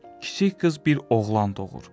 Kiçik qız bir oğlan doğur.